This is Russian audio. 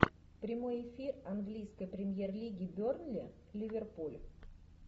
прямой эфир английской премьер лиги бернли ливерпуль